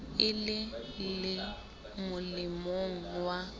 e le le molemong wa